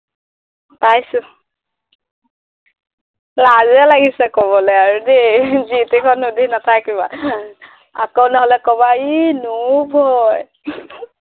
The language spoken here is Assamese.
পাইছো লাজেই লাগিছে কবলে আৰু দেই যি তি খন সুধি নাথাকিবা আকৌ নহলে কবা ই newbie হয়